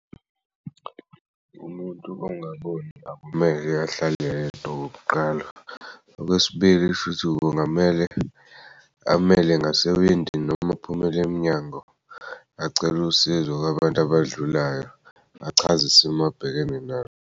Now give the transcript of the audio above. Umuntu ongaboni akumele ahlale yedwa okokuqala. Okwesibili shuthi kungamele amele ngasewindini noma aphumelemnyango acele usizo kwabantu abadlulayo achaz'isimo abhekene nayo.